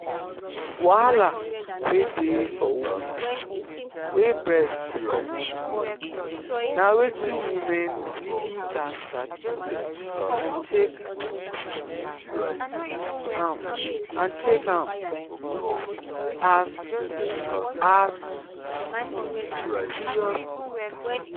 wahala wey dey for women wey breast dey comot milk na wetin women really gat sabi and take um am um as um as um serious matter.